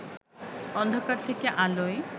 অন্ধকার থেকে আলোয়